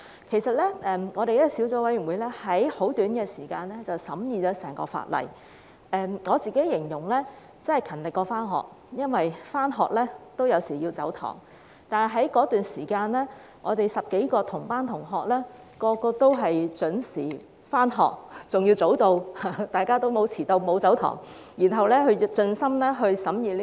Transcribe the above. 其實，法案委員會用很短的時間審議了整項《條例草案》，我形容為"勤力過上學"，因為上學有時也會"走堂"，但我們10多位"同班同學"在這段時間內個個都準時上學，甚至提早到達，大家都沒有遲到、沒有"走堂"，然後盡心盡力審議《條例草案》。